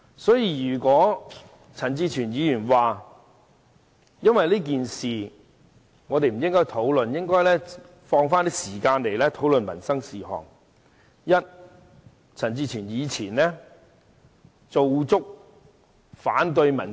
所以，陳志全議員說我們不應就這件事進行辯論，而應把時間留作討論民生事項，我要提出兩點回應。